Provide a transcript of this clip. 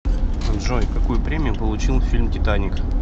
джой какую премию получил фильм титаник